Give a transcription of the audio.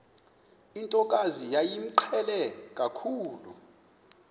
ntokazi yayimqhele kakhulu